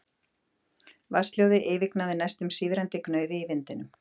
Vatnshljóðið yfirgnæfði næstum sífrandi gnauðið í vindinum.